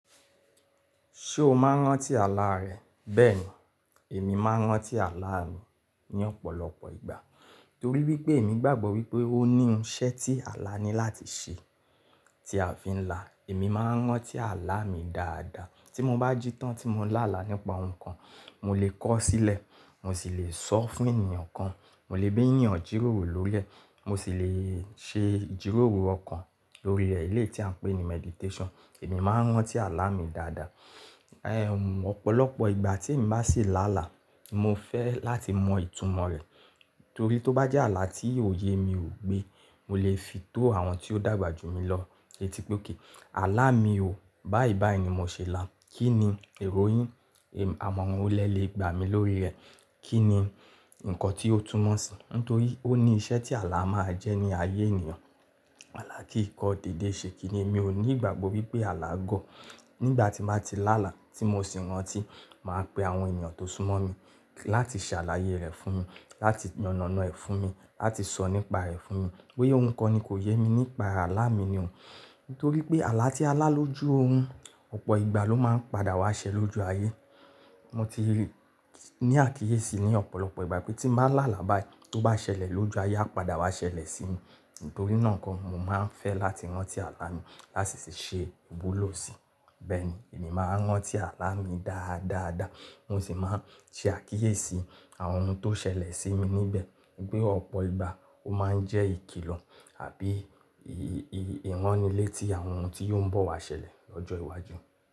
Ṣé o máa ń rántí àlá rẹ? Bẹ́ẹ̀ni, èmi máa ń rántí àlá mi ní ọ̀pọ̀lọpọ̀ ìgbà torí wípé èmi gbàgbọ́ wípé ó ní iṣẹ́ tí àlá ní láti ṣe tí a fi ń là. Èmi máa ń rántí àlá mi dáadáa tí mo bá jí tán tí mo ń là á là nípa ohun kan, mo lè kọ̀ ọ́ sílẹ̀, mo sì lè sọ fún ènìyàn kan, mo lè bé ènìyàn jìròrò lórí rẹ̀, mo sì lè ṣe jìròrò ọkàn lórí rẹ̀, eléyìí tí à ń pè ní meditation. Èmi máa ń rántí àlá mi dáadáa. Ẹ̀ ọ̀pọ̀lọpọ̀ ìgbà tí ń bá sì là á là, mo fẹ́ láti mọ ìtumọ̀ rẹ̀ torí tó bá jẹ́ àlá tí òye mi ò gbé, mo lè fi tó àwọn tí ó dàgbà jù mí lọ. Tétí pé ó kí àlá mi ò, báyìí báyìí ni mo ṣèlà, kí ni èrò yìn? Ẹ̀ àmọ̀ran wo lẹ́ lè gbà mí lórí rẹ̀. Kí ni nǹkan tí ó túmọ̀ sí? Nítorí ó ní iṣẹ́ tí àlá máa ń jẹ́ ní ayé ènìyàn. Àlá kì í kọ́ dède ṣe, kí ni èmi ò ní ìgbàgbọ́ wípé àlá gọ́. Nígbà tí máa ti là á là tí mo sì rántí, màá pe àwọn ènìyàn tó súnmọ́ mi láti ṣàlàyé rẹ̀ fún mi, láti yanànà ẹ fún mi, láti sọ nípa rẹ̀ fún mi. Bo ya ohun kan ni kò yẹ mi nípa àlá mi ni òun. Nítorí pé àlá tí a lá lójú orun, ọ̀pọ̀ ìgbà ló máa ń padà wá ṣẹ lójú ayé. Mo ti ní àkíyèsí ní ọ̀pọ̀lọpọ̀ ìgbà pé tí máa là á là báyii, tó bá ṣẹlẹ̀ lójú ayé, a padà wá ṣẹlẹ̀ sí mi. Nítorí náà nko, mo máa ń fẹ́ láti rántí àlá mi láti sì ṣe ìbúlù ọ̀sìn. Bẹ́ẹ̀ni, èmi máa ń rántí àlá mi dáadáadáa, mo sì máa ń ṣe àkíyèsí àwọn ohun tó ṣẹlẹ̀ sí mi níbẹ̀. Gbé ọ̀pọ̀ ìgbà ó máa ń jẹ́ ìkìlọ̀ àbí ì-ì-ìránnilétí àwọn ohun tí yóò ń bọ̀ wá ṣẹlẹ̀ lọ́jọ́ iwájú.